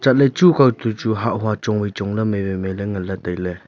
hanley chu akao to chu hah hua chong wai chongley mai wai mailay nganley tailay.